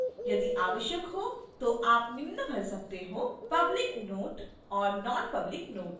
यदि आवश्यक हो तो आप निम्न भर सकते हो